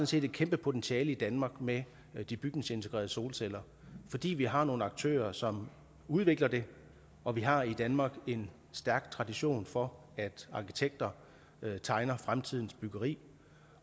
set et kæmpe potentiale i danmark med de bygningsintegrerede solceller fordi vi har nogle aktører som udvikler dem og vi har i danmark en stærk tradition for at arkitekter tegner fremtidens byggeri